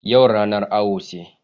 Yau ranar awo ce.